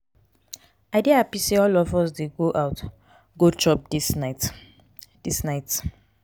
i dey happy say all of us dey go out go chop this night this night